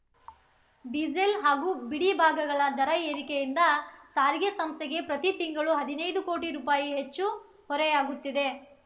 diesel ಹಾಗೂ ಬಿಡಿ ಭಾಗಗಳ ದರ ಏರಿಕೆಯಿಂದ ಸಾರಿಗೆ ಸಂಸ್ಥೆಗೆ ಪ್ರತಿ ತಿಂಗಳು ಹದಿನೈದು ಕೋಟಿ ರೂಪಾಯಿ ಹೆಚ್ಚು ಹೊರೆಯಾಗುತ್ತಿದೆ